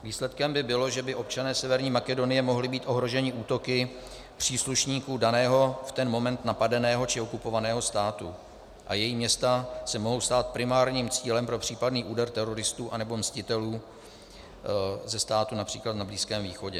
Výsledkem by bylo, že by občané Severní Makedonie mohli být ohroženi útoky příslušníků daného v ten moment napadeného či okupovaného státu a její města se mohou stát primárním cílem pro případný úder teroristů anebo mstitelů ze států například na Blízkém východě.